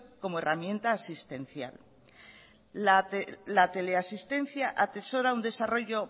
como herramienta asistencial la teleasistencia atesora un desarrollo